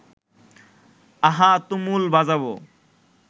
আহা তুমুল বাজাবো